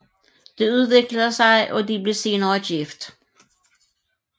Det udviklede sig og de blev senere gift